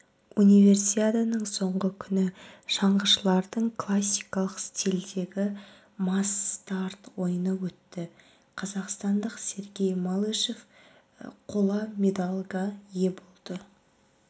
универсиаданың соңғы күні шаңғышылардың классикалық стильдегі масс-старт ойыны өтті қазақстандық сергей малышев қола медальға ие болды